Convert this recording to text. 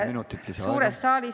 Kolm minutit, palun!